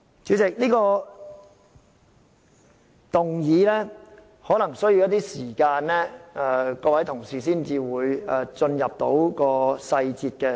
主席，各位同事可能需要一些時間了解這項議案的細節，才可進入辯論。